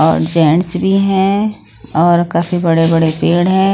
और जेंट्स भी हैं और काफी बड़े बड़े पेड़ हैं।